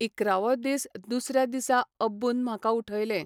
इकरावो दीस दुसर्या दिसा अब्बून म्हाका उठयलें.